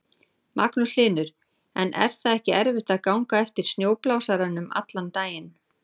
Magnús Hlynur: En er það ekki erfitt að ganga á eftir snjóblásaranum allan daginn?